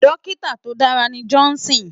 Dòkitá tó dàrá ni Johnson